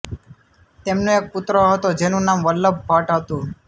તેમનો એક પુત્ર હતો જેનું નામ વલ્લભભટ્ટ હતું